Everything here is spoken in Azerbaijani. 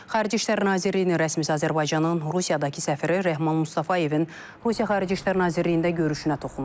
Xarici İşlər Nazirliyinin rəsmisi Azərbaycanın Rusiyadakı səfiri Rəhman Mustafayevin Rusiya Xarici İşlər Nazirliyində görüşünə toxunub.